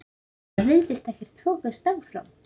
Það virðist ekkert þokast áfram?